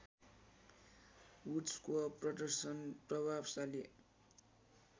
वुड्सको प्रदर्शन प्रभावशाली